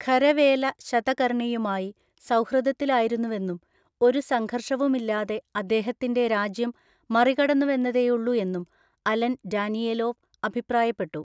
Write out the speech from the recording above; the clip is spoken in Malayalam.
ഖരവേല ശതകർണിയുമായി സൗഹൃദത്തിലായിരുന്നുവെന്നും ഒരു സംഘർഷവുമില്ലാതെ അദ്ദേഹത്തിന്‍റെ രാജ്യം മറികടന്നുവെന്നതേയുള്ളൂ എന്നും അലൻ ഡാനിയേലോവ് അഭിപ്രായപ്പെട്ടു.